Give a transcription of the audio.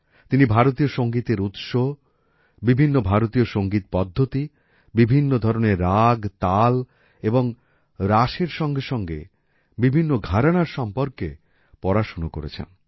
তিনি ভারতীয় সঙ্গীতের উৎস বিভিন্ন ভারতীয় সঙ্গীত পদ্ধতি বিভিন্ন ধরণের রাগ তাল এবং রাসের সঙ্গে সঙ্গে বিভিন্ন ঘরানার সম্পর্কে পড়াশোনা করেছেন